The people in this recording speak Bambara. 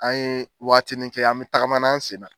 An ye wagatini kɛ an be tagamana an sen na